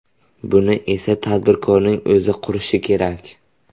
Buni esa tadbirkorning o‘zi qurishi kerak.